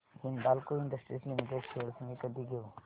Hindalco industries limited shares मी कधी घेऊ